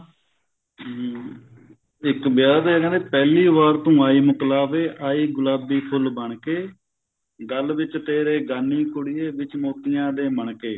ਹਮ ਇੱਕ ਵਿਆਹ ਦੇ ਨਾ ਪਹਿਲੀ ਵਾਰ ਤੂੰ ਆਈ ਮੁਕਲਾਵੇ ਆਈ ਗੁਲਾਬੀ ਫੁੱਲ ਬਣ ਕੇ ਗਲ ਵਿੱਚ ਤੇਰੇ ਗਾਨੀ ਕੁੜੀਏ ਵਿੱਚ ਮੋਤੀਆਂ ਦੇ ਮਣਕੇ